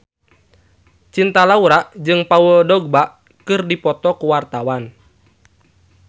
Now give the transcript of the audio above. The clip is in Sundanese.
Cinta Laura jeung Paul Dogba keur dipoto ku wartawan